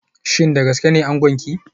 Shin da gaske ne angonki